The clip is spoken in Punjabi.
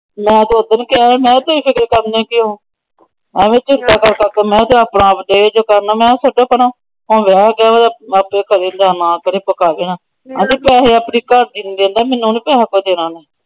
ਮੈ ਤਾਂ ਓਦਣ ਕਿਹਾ ਸੀ। ਤੁਸੀਂ ਏਨਾ ਦੱਬਣੇ ਕਿਉਂ? ਮੈ ਕਿਹਾ ਛੱਡੋ ਪਰ ਵਿਹੇਆ ਗਿਆ ਆਪਣਾ ਕਰੇ ਨਾ ਕਰੇ। ਆਉਂਦੀ ਪੈਸੇ ਆਪਣੀ ਘਰਵਾਲੀ ਨੂੰ। ਮੈਨੂੰ ਨਹੀਂ ਕੋਈ ਪੈਸੇ ਦੇਣਾ ਓਹਨੇ।